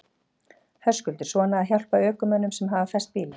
Höskuldur: Svona að hjálpa ökumönnum sem hafa fest bílinn?